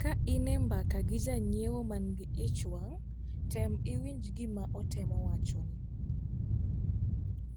Ka in e mbaka gi janyieo mangi ich wang' tem iwinj gima otemo wachoni.